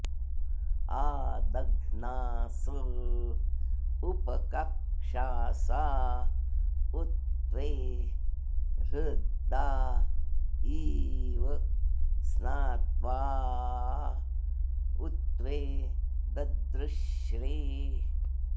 आ॒द॒घ्नास॑ उपक॒क्षास॑ उ त्वे ह्र॒दा इ॑व॒ स्नात्वा॑ उ त्वे ददृश्रे